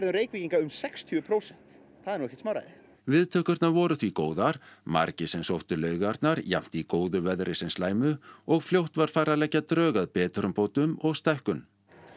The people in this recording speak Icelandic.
Reykvíkinga um sextíu prósent það er ekkert smáræði viðtökurnar voru því góðar margir sem sóttu laugarnar jafnt í góðu veðri sem slæmu og fljótt var farið að leggja drög að betrumbótum og stækkun